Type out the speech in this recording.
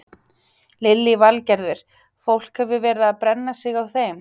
Lillý Valgerður: Fólk hefur verið að brenna sig á þeim?